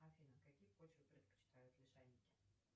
афина какие почвы предпочитают лишайники